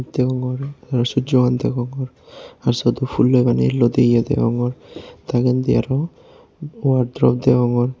degongor aro sujjogan degongor aro syot phulloi baneye ludiye degongor dagendi aro wardro degongor.